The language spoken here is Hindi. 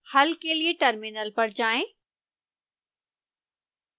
हल के लिए टर्मिनल पर जाएं